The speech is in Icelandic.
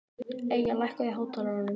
Eyja, lækkaðu í hátalaranum.